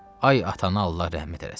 Ay atana Allah rəhmət eləsin.